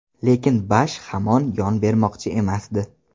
Lekin Bush ham yon bermoqchi emasdi.